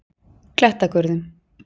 Klettagörðum